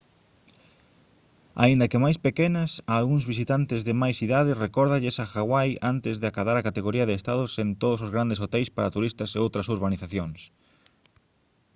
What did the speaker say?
aínda que máis pequenas a algúns visitantes de máis idade recórdalles a hawai antes de acadar a categoría de estado sen todos os grandes hoteis para turistas e outras urbanizacións